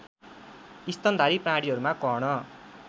स्तनधारी प्राणीहरूमा कर्ण